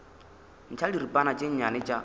ntšha diripana tše nnyane tša